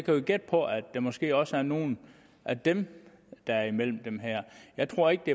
jo gætte på at det måske også er nogle af dem der er imellem dem her jeg tror ikke det